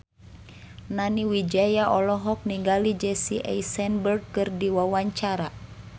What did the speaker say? Nani Wijaya olohok ningali Jesse Eisenberg keur diwawancara